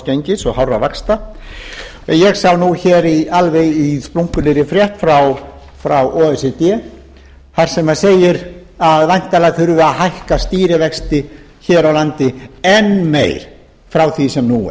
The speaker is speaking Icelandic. gengis og hárra vaxta en ég sá alveg í splunkunýrri frétt frá o e c d þar sem segir a væntanlega þurfi að hækka stýrivexti hér á landi enn meir fraþví sem nú